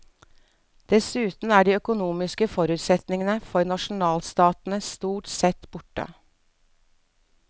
Dessuten er de økonomiske forutsetningene for nasjonalstatene stort sett borte.